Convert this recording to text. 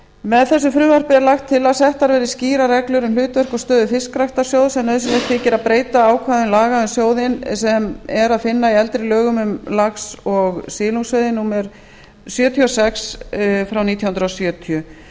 með þessu frumvarpi er lagt til að settar verði skýrar reglur um hlutverk og stöðu fiskræktarsjóðs en nauðsynlegt þykir að breyta ákvæðum laga um sjóðinn sem er að finna í eldri lögum um lax og silungsveiði númer sjötíu og sex nítján hundruð sjötíu